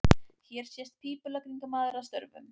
Hér sést pípulagningamaður að störfum.